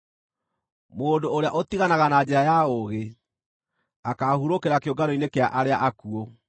Mũndũ ũrĩa ũtiganaga na njĩra ya ũũgĩ, akaahurũkĩra kĩũngano-inĩ kĩa arĩa akuũ.